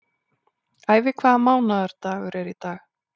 Ævi, hvaða mánaðardagur er í dag?